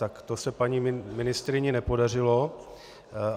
Tak to se paní ministryni nepodařilo.